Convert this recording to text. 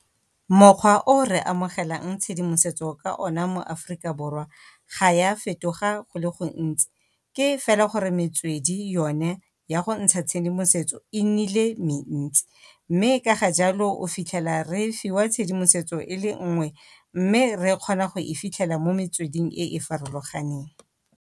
Mokgwa o re amogelang tshedimosetso ka ona mo Aforika Borwa, ga e a fetoga go le gontsi ke fela gore metswedi yone ya go ntsha tshedimosetso e nnile mentsi. Mme ka ga jalo o fitlhela re fiwa tshedimosetso e le nngwe, mme re kgona go e fitlhela mo metsweding e e farologaneng.